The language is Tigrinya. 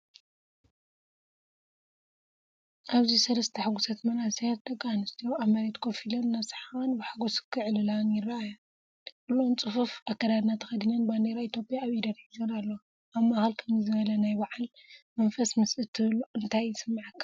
ኣብዚ ሰለስተ ሕጉሳት መንእሰያት ደቂ ኣንስትዮ ኣብ መሬት ኮፍ ኢለን እናሰሓቓን ብሓጎስ ክዕልላን ይረኣያ። ኩሎን ጽፉፍ ኣከዳድና ተኸዲነን ባንዴራ ኢትዮጵያ ኣብ ኢደን ሒዞን ኣለዋ። ኣብ ማእከል ከምዚ ዝበለ ናይ በዓል መንፈስ ምስ እትህሉ እንታይ ይስምዓካ?